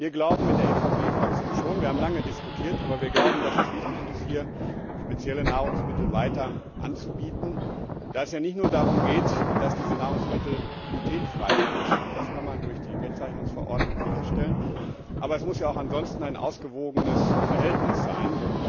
Wir haben in der EVP Fraktion lange diskutiert, und wir glauben schon, dass es wichtig ist, hier spezielle Nahrungsmittel weiter anzubieten, da es ja nicht nur darum geht, dass diese Nahrungsmittel glutenfrei sind das kann man durch die Kennzeichnungsverordnung sicherstellen sondern es muss auch ansonsten ein ausgewogenes Verhältnis sein.